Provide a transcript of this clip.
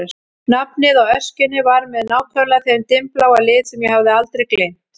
Nafnið á öskjunni var með nákvæmlega þeim dimmbláa lit sem ég hafði aldrei gleymt.